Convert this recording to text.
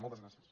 moltes gràcies